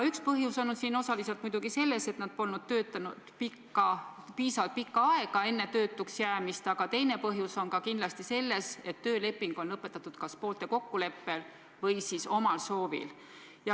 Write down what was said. Üks põhjus on muidugi selles, et nad polnud töötanud piisavalt pikka aega enne töötuks jäämist, aga teine põhjus on ka kindlasti selles, et tööleping on lõpetatud kas poolte kokkuleppel või siis omal soovil.